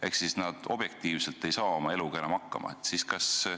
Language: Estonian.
Ehk nad objektiivselt ei saa oma eluga enam hakkama.